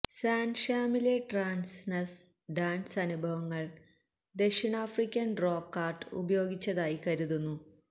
San ഷാമിലെ ട്രാൻസ്നസ്സ് dance അനുഭവങ്ങൾ ദക്ഷിണാഫ്രിക്കൻ റോക്ക് ആർട്ട് ഉപയോഗിച്ചതായി കരുതുന്നു